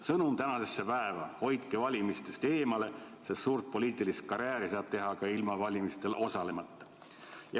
Sõnum tänasesse päeva on: hoidke valimistest eemale, sest suurt poliitilist karjääri saab teha ka ilma valimistes osalemata.